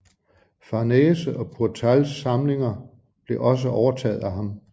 Farnese og Pourtals samlingerne blev også overtaget af ham